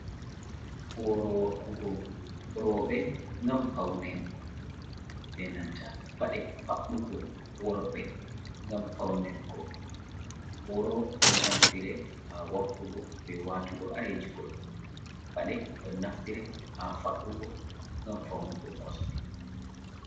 Booro wakkugo rooɓe, ngam pawne, be nanta paɗe faɗɗugo worɓe, ngam fawnirgo. Booro ɗon naftire haa wakkugo be waatugo areeji goɗɗum, paɗe ɗon naftire haa faɗɗugo ngam fawnugo kosɗe.